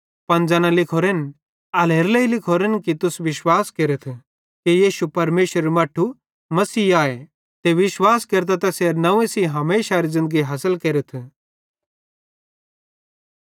पन ज़ैना लिखोरन एल्हेरेलेइ लिखोरेन कि तुस विश्वास केरथ कि यीशु परमेशरेरू मट्ठू मसीहे आए ते विश्वास केरतां तैसेरे नंव्वे सेइं हमेशारी ज़िन्दगी हासिल केरथ